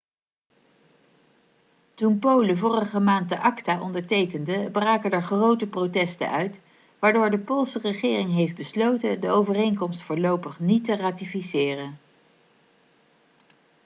toen polen vorige maand de acta ondertekende braken er grote protesten uit waardoor de poolse regering heeft besloten de overeenkomst voorlopig niet te ratificeren